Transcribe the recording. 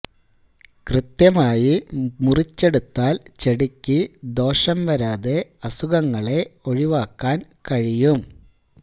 കൃത്യമായി മുറിച്ചെടുത്താല് ചെടിക്ക് ദോഷം വരാതെ അസുഖങ്ങളെ ഒഴിവാക്കാന് കഴിയും